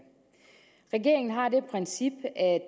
regeringen har det princip at